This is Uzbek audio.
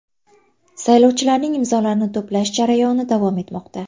Saylovchilarning imzolarini to‘plash jarayoni davom etmoqda.